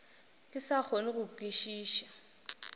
ke sa kgone go kwešiša